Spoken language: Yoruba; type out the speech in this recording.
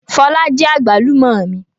Fọlá jí àgbálù ọ́ mi.